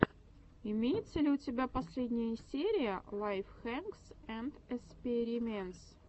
имеется ли у тебя последняя серия лайф хэкс энд эспериментс